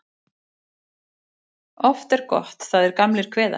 Oft er gott það er gamlir kveða.